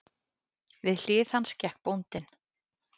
Við hlið hans gekk bóndinn.